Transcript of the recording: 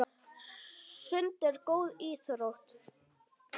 Sund er góð íþrótt.